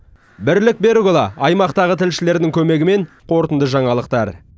бірлік берікұлы аймақтағы тілшілердің көмегімен қорытынды жаңалықтар